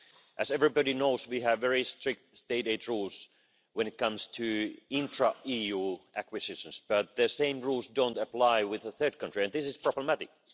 As everybody knows, we have very strict state aid rules when it comes to intra-EU acquisitions, but the same rules don't apply with a third country, and this is problematic.